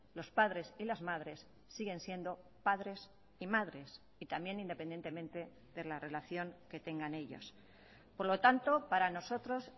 los padres y las madres siguen siendo padres y madres y también independientemente de la relación que tengan ellos por lo tanto para nosotros